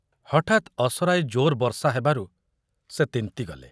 ହଠାତ ଅସରାଏ ଜୋର ବର୍ଷା ହେବାରୁ ସେ ତିନ୍ତିଗଲେ।